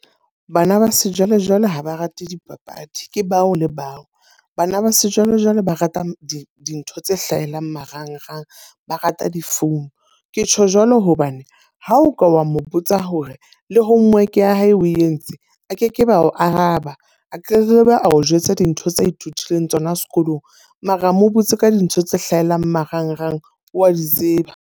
Bana ba sejwalejwale ha ba rate dipapadi. Ke bao le bao. Bana ba sejwalejwale ba rata di dintho tse hlahelang marangrang, ba rata difounu. Ke tjho jwalo hobane ha o ka wa mo botsa hore le homework ya hae o entse, a ke ke ba o araba. A ke ke be a o jwetsa ka dintho tsa ithutileng tsona sekolong. Mara mo botse ka dintho tse hlahelang marangrang, o wa di tseba.